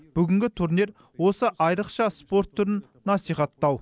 бүгінгі турнир осы айрықша спорт түрін насихаттау